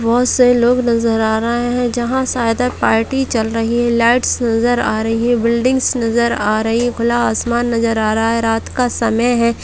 बहुत से लोग नजर आ रहे है जहां शायद एक पार्टी चल रही है लाइट्स नजर आ रही है बिल्डिंग्स नजर आ रही खुला आसमान नजर आ रहा रात का समय है।